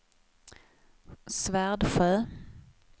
Svärdsjö